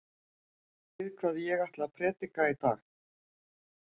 Vitið þið hvað ég ætla að prédika í dag?